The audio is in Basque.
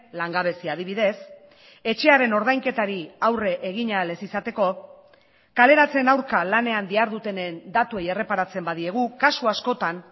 langabezia adibidez etxearen ordainketari aurre egin ahal ez izateko kaleratzen aurka lanean dihardutenen datuei erreparatzen badiegu kasu askotan